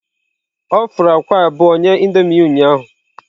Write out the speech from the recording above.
Ọ fụrụ akwa abụọ nye Indomie ya ụnyahụ.